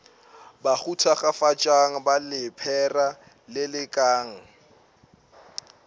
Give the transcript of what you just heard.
bahu thakgafatšang ba lephera lelekang